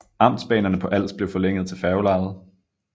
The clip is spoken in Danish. Amtsbanerne på Als blev forlænget til færgelejet